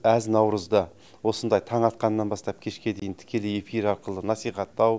әз наурызды осындай таң атқаннан бастап кешке дейін тікелей эфир арқылы насихаттау